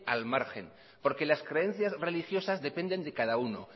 al margen porque las creencias religiosas dependen de cada uno